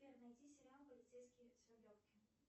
сбер найди сериал полицейский с рублевки